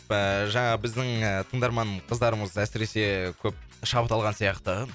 ыыы жаңағы біздің ы тыңдарман қыздарымыз әсіресе көп шабыт алған сияқты